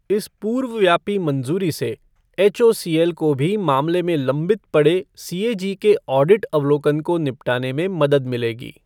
इस पूर्वव्यापी मंज़ूरी से एचओसीएल को भी मामले में लंबित पड़े सीएजी के ऑडिट अवलोकन को निपटाने में मदद मिलेगी।